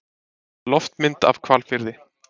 loftmynd af hvalfirði